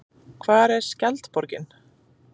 Hvar er skjaldborgin?